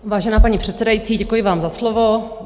Vážená paní předsedající, děkuji vám za slovo.